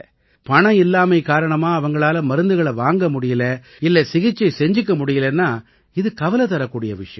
பணம் இல்லாமை காரணமா அவங்களால மருந்துகளை வாங்க முடியலை இல்லை சிகிச்சை செஞ்சுக்க முடியலைன்னா இது கவலை தரக்கூடிய விஷயம்